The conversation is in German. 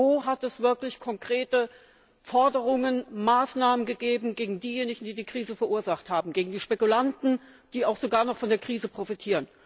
Wo hat es wirklich konkrete Forderungen oder Maßnahmen gegen diejenigen gegeben, die die Krise verursacht haben, gegen die Spekulanten, die auch sogar noch von der Krise profitieren?